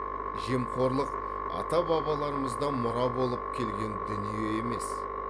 жемқорлық ата бабаларымыздан мұра болып келген дүние емес